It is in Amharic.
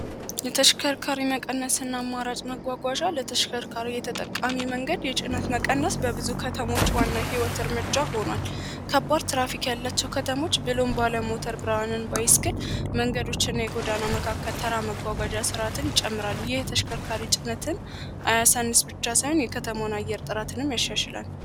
ለተሽከርካሪ እየተጠቃሚ መንገድ የጭነት መቀነስ በብዙ ከተሞች ዋና ህይወት እርምጃ ሆኗል ከባድ ትራፊክ ያለዉ ከተሞች ብሎን ባለሞተ ብርሃንን ግን መንገዶችና የጎዳና መካከል ተራ መጎጃትን ይጨምራሉ የተሽከርካሪነትን ብቻ ሳይሆን የከተሞን አየር ጥራትንም ያሸላል